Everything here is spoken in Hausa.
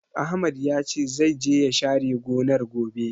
Ahmad ya ce, zai je ya share gonar, gobe.